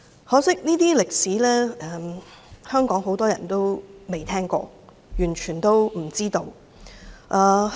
可惜，很多香港人未聽過這些歷史，也完全不知情。